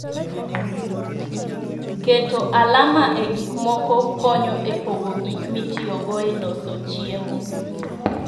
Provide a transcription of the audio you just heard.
Keto alama e gik moko konyo e pogo gik mitiyogo e loso chiemo.